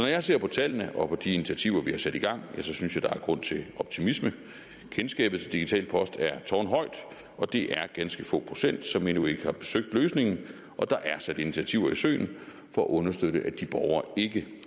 jeg ser på tallene og på de initiativer vi har sat i gang synes jeg der er grund til optimisme kendskabet til digital post er tårnhøjt og det er ganske få procent som endnu ikke har besøgt løsningen og der er sat initiativer i søen for at understøtte at de borgere ikke